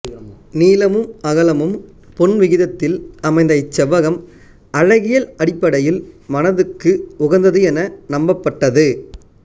நீளமும் அகலமும் பொன் விகிதத்தில் அமைந்த இச்செவ்வகம் அழகியல் அடிப்படையில் மனதுக்கு உகந்தது என நம்பப்பட்டது